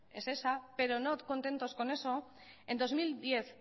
es esa pero no contentoscon eso en dos mil diez